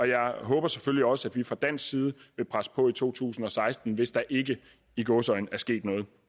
jeg håber selvfølgelig også at vi fra dansk side vil presse på i to tusind og seksten hvis der ikke i gåseøjne er sket noget